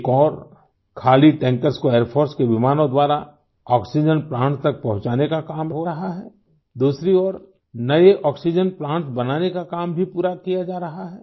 एक ओर खाली टैंकर्स को एयर फोर्स के विमानों द्वारा आक्सीजेन प्लांट्स तक पहुँचाने का काम हो रहा है दूसरी ओर नए आक्सीजेन प्लांट्स बनाने का काम भी पूरा किया जा रहा है